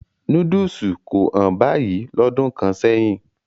Núdùsù kò hán báyìí lọ́dún kan sẹ́yìn.